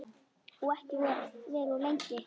Og ekki vera of lengi.